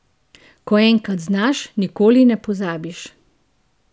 Ko enkrat znaš, nikoli ne pozabiš.